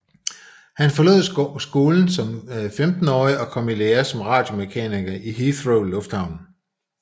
Han forlod skolen som femtenårig og kom i lære som radiomekaniker i Heathrow Lufthavn